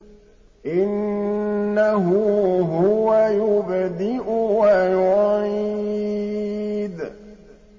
إِنَّهُ هُوَ يُبْدِئُ وَيُعِيدُ